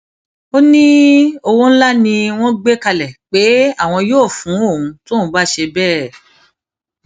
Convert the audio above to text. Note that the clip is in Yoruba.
ó ní owó ńlá ni wọn gbé kalẹ pé àwọn yóò fún òun tóun bá ṣe bẹẹ